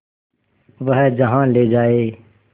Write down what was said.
वह जहाँ ले जाए